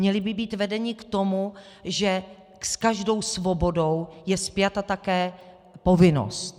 Měli by být vedeni k tomu, že s každou svobodou je spjata také povinnost.